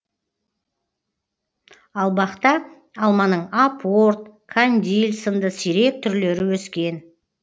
ал бақта алманың апорт кандиль сынды сирек түрлері өскен